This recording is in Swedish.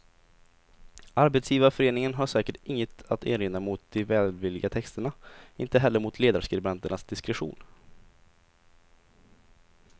Arbetsgivarföreningen har säkert inget att erinra mot de välvilliga texterna, inte heller mot ledarskribenternas diskretion.